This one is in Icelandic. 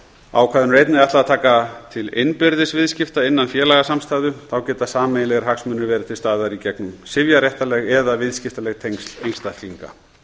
er einnig ætlað að taka til innbyrðis viðskipta innan félagasamstæðu þá geta sameiginlegir hagsmunir verið til staðar í gegnum sifjaréttarleg eða viðskiptaleg tengsl einstaklinga